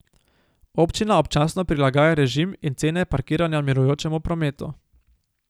Občina občasno prilagaja režim in cene parkiranja mirujočemu prometu.